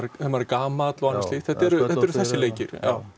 ef maður er gamall og annað slíkt það eru þessir leikir